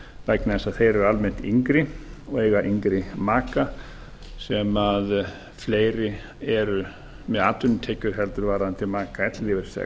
vegna þess að þeir eru almennt yngri og eiga yngri maka sem fleiri eru með atvinnutekjur en varðandi maka